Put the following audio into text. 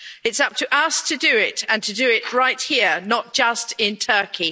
It's up to us to do it, and to do it right here, not just in Turkey.